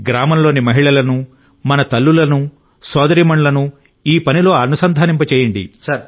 గ్రామంలోని మహిళలను మన తల్లులను సోదరీమణులను ఈ పనిలో అనుసంధానింపజేయండి